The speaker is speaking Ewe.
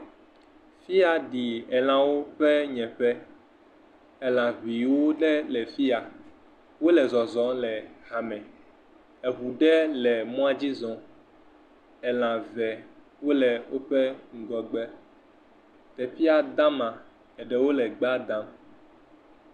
Fi ya ɖi elãwo ƒe nye ƒe, elã ŋe ɖewo le fi ya. Wole zɔzɔm le ha me. Eŋu ɖe le mɔa dzi zɔm, elã ŋewo le woƒe ŋgɔgbe. Teƒea de ama, eɖewo le gbea dam.